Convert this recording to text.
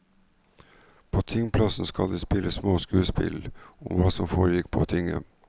På tingplassen skal det spilles små skuespill om hva som foregikk på tinget.